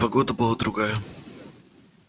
погода была другая